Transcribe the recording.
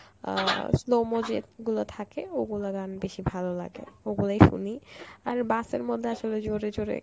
আ slow-mo যেত্ গুলো থাকে ওগুলা গান বেশি ভালো লাগে, ওগুলাই শুনি আর bus এর মধ্যে আসলে জোরে জোরে